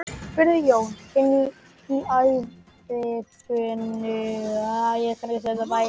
spurði Jón inn í æðibunuganginn.